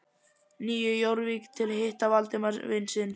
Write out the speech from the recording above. Nýju Jórvík til að hitta Valdimar vin sinn.